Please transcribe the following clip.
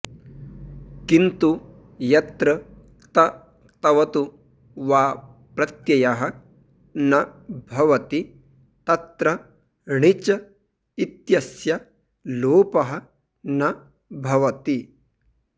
किन्तु यत्र क्त क्तवतु वा प्रत्ययः न भवति तत्र णिच् इत्यस्य लोपः न भवति